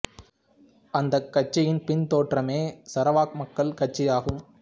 அந்தக் கட்சியின் பின் தோற்றமே சரவாக் மக்கள் கட்சி ஆகும்